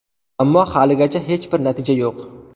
Ammo, haligacha hech bir natija yo‘q.